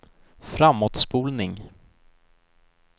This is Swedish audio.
framåtspolning